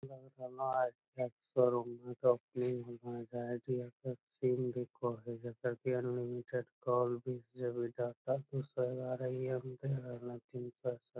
जकर की unlimited call भी जे भी डाटा दू सौ ग्यारइये मे दे रहले --